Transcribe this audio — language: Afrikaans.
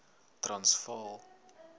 transvaal